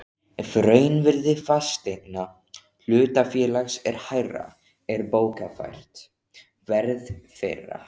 ef raunvirði fasteigna hlutafélags er hærra er bókfært verð þeirra.